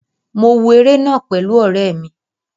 Mo wo eré náà pẹ̀lú ọ̀rẹ́ mi